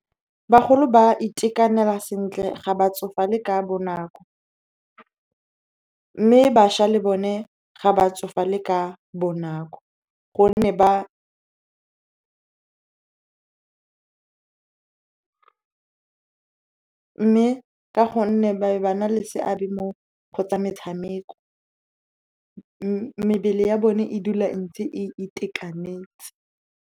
Bagolo ba itekanela sentle, ga batsofale ka bonako, mme bašwa le bone ga batsofale ka bonako. Mme ka gonne ba be ba na le seabe mo gotsa metshameko, mebele ya bone e dula e ntse e itekanetse.